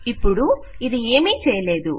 ఇపుడు ఇది ఏమీ చేయలేదు